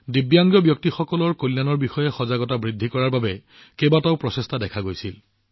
দিব্যাংগসকলৰ কল্যাণৰ বিষয়ে সজাগতা বৃদ্ধিৰ বাবে এই উৎসৱত বহুতো প্ৰচেষ্টা দেখা গৈছিল